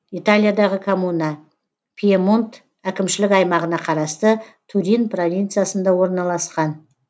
италиядағы коммуна пьемонт әкімшілік аймағына қарасты турин провинциясында орналасқан